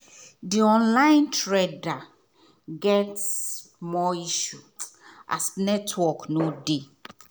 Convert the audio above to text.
the online trader get small issue as network not dey